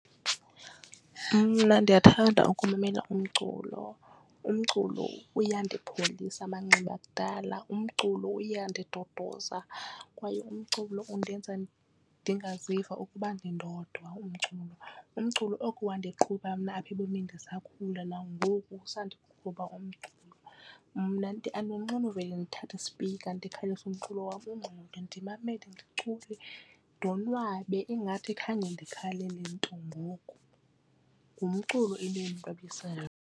Mna ndiyathanda ukumamela umculo, umculo iyandiphilisa amanxeba akudala. Umculo uyandiduduza kwaye umculo undenza ndingaziva ukuba ndindodwa umculo. Umculo oko wandiqhuba mna apha ebomini ndisakhula nangoku usandikhupha umculo. Mna andonqeni uvele ndithathe ispikha ndikhalise umculo wam ungxole ndimamele ndicule ndonwabe ingathi khange ndikhalele nto ngoku, ngumculo into endi .